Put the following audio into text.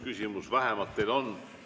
Vähemalt üks küsimus teile on.